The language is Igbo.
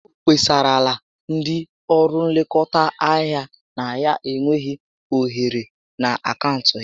O kpesarala ndị ọrụ nlekọta ahịa na ya enweghị ohere na akaụntụ ya